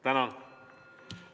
Tänan!